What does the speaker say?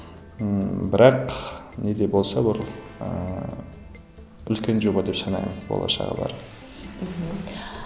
ммм бірақ не де болса ол ыыы үлкен жоба деп санаймын болашағы бар мхм